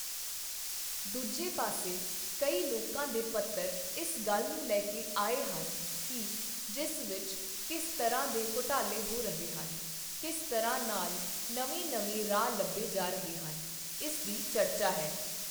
ਦੂਜੇ ਪਾਸੇ ਕਈ ਲੋਕਾਂ ਦੇ ਪੱਤਰ ਇਸ ਗੱਲ ਨੂੰ ਲੈ ਕੇ ਆੲੈ ਹਨ ਕਿ ਜਿਸ ਵਿੱਚ ਕਿਸ ਤਰ੍ਹਾਂ ਦੇ ਘੁਟਾਲੇ ਹੋ ਰਹੇ ਹਨ, ਕਿਸ ਤਰ੍ਹਾਂ ਨਾਲ ਨਵੇਂ ਨਵੇਂ ਰਾਹ ਲੱਭੇ ਜਾ ਰਹੇ ਹਨ, ਇਸ ਦੀ ਚਰਚਾ ਹੈ।